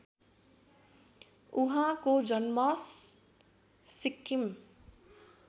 उहाँको जन्म सिक्किम